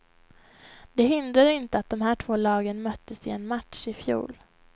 Det hindrar inte att de här två lagen möttes i en match i fjol.